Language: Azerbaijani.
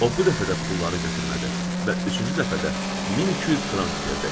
O bu dəfə də pulları götürmədi və üçüncü dəfə də 1200 frank itirdi.